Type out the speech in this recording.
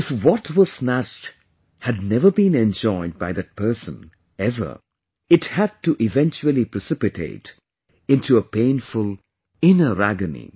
If what was snatched had never been enjoyed by that person, ever, it had to eventually precipitate into a painful inner agony